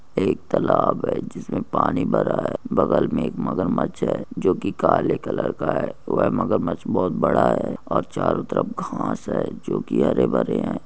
एक तालाब है जिसमे पानी भरा है बगल मैं एक मगर मच हैं जोके की काळा कलर का है वह मगरमछ बोहोत बड़ा है और चारो तरफ घास है जो की हरे भरे है।